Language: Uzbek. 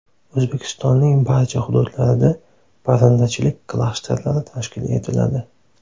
O‘zbekistonning barcha hududlarida parrandachilik klasterlari tashkil etiladi.